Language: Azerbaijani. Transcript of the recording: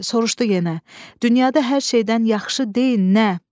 Soruşdu yenə: "Dünyada hər şeydən yaxşı deyil nə?"